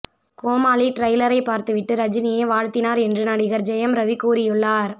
கோமாளி ட்ரைலரை பார்த்துவிட்டு ரஜினியே வாழ்த்தினார் என்று நடிகர் ஜெயம் ரவி கூறியுள்ளார்